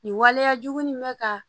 Nin waleyajugu nin bɛ ka